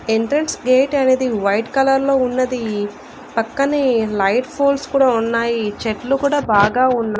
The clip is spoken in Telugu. ఎంట్రెన్స్ గేట్ అనేది వైట్ కలర్లో ఉన్నది పక్కనే లైట్ పోల్స్ కూడా ఉన్నాయి చెట్లు కూడా బాగా ఉన్నా--